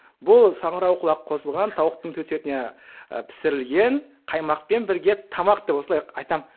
бұл саңырауқұлақ қосылған тауықтың төс етіне і пісірілген қаймақпен бірге тамақ деп осылай айтамын